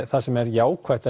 það sem er jákvætt